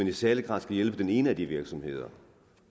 i særlig grad skal hjælpe den ene af de virksomheder